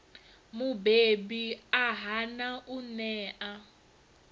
mubebi a hana u ṋea